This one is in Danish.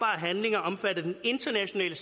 handlinger omfattet af den internationale